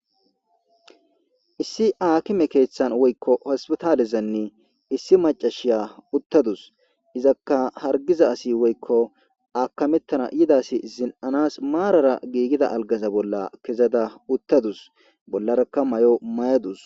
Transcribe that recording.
issi aakime keeththan woykko hospitaalezanne issi macashiya uttadus izakka hargiza asi woykko aakamettana yidasi zin7anas maarara giigida algasa bolla kezada uttadus bollarakka may7o may7adus